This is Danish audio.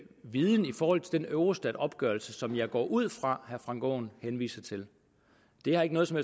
viden i forhold til den eurostatopgørelse som jeg går ud fra at herre frank aaen henviste til det har ikke noget som